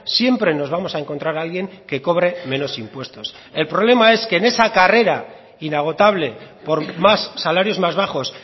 siempre nos vamos a encontrar alguien que cobre menos impuestos el problema es que en esa carrera inagotable por más salarios más bajos